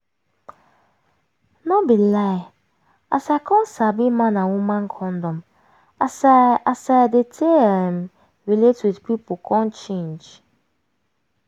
no be lie as i come sabi man and woman condom as i as i dey take um relate with pipu come change